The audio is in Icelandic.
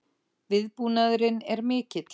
Viðbúnaðurinn er mikill